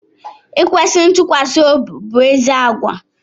Ikwesi ntukwasiobi bụ ézì àgwà